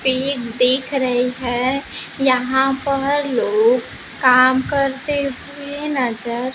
pig दिख रही है यहां पर लोग काम करते हुए नजर--